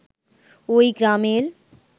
ওই গ্রামের